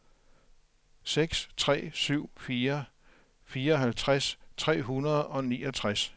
seks tre syv fire fireoghalvtreds tre hundrede og niogtres